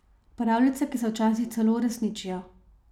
Pravljice, ki se včasih celo uresničijo.